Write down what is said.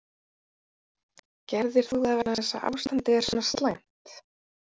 Gerðir þú það vegna þess að ástandið er svona slæmt?